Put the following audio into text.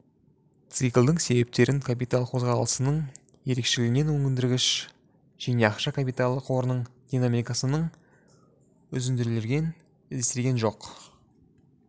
циклділіктің себептерін капитал қозғаласының ерекшелегінен өндіргіш және ақша капиталы қорының динамикасының үзінділерінен іздестірген жөн